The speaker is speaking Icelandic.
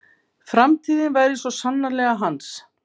Framtíðin væri svo sannarlega hans.